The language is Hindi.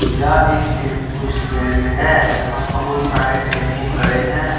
यह एक टेम्पु स्टैंड हैं जहां बहुत सारे टम्पू खड़े हैं।